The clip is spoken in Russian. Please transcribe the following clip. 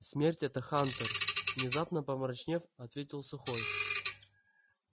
смерть это хантер внезапно помрачнев ответил сухой